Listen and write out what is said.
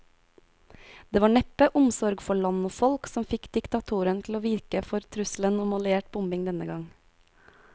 Det var neppe omsorg for land og folk som fikk diktatoren til å vike for trusselen om alliert bombing denne gang.